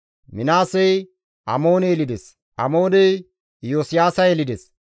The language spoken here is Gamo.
Minaasey Amoone yelides; Amooney Iyosiyaasa yelides,